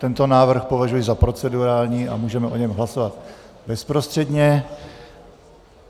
Tento návrh považuji za procedurální a můžeme o něm hlasovat bezprostředně.